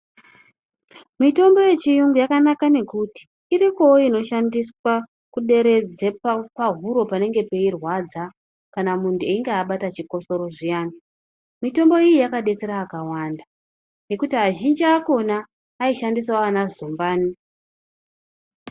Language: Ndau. Mitombo yechiyungu yakanaka nekuti iripowo inoshandiswa kuderedze pahuro panenge peirwadza kana munhu einge abata chikotsoro zviyani ,mitombo iyi yakadetsera akawanda nekuti azhinji akona aishandisawo ana zumbani.